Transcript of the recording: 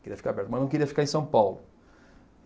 Queria ficar perto, mas não queria ficar em São Paulo.